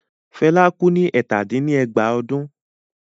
Fela kú ní ẹ̀tàdín-ní-ẹgbàá ọdún?